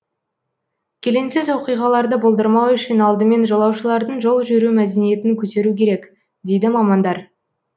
келеңсіз оқиғаларды болдырмау үшін алдымен жолаушылардың жол жүру мәдениетін көтеру керек дейді мамандар